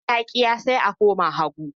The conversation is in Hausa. In dama ta ƙiya, sai a koma hagu